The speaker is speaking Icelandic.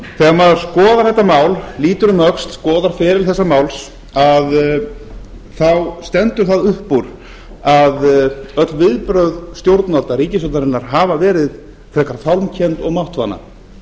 þegar maður skoðar þetta mál lítur um öxl skoðar feril þessa máls að þá stendur það upp úr að öll viðbrögð stjórnvalda ríkisstjórnarinnar hafa verið frekar fálmkennd og máttvana